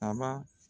A ba